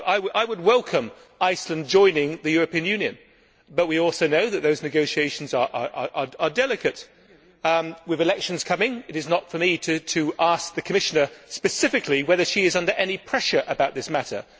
I would welcome Iceland joining the European Union, but we also know that those negotiations are delicate. With elections coming, it is not for me to ask the Commissioner specifically whether she is under any pressure with regard to this matter.